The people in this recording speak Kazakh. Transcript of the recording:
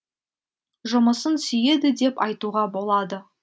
жұмысын сүйеді деп айтуға болады